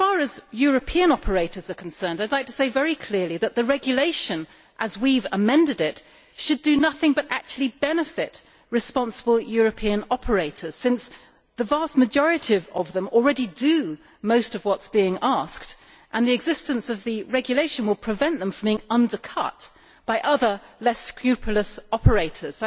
As far as European operators are concerned, I would like to say very clearly that the regulation as we have amended it should do nothing but benefit responsible European operators, since the vast majority of them already do most of what is being asked, and the existence of the regulation will prevent them from being undercut by other, less scrupulous, operators.